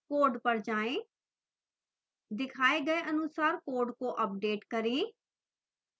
code पर जाएं दिखाए गए अनुसार code को अपडेट करें